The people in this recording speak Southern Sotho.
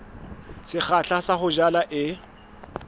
sekgahla sa ho jala e